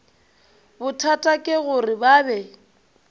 bothata ke gore ba be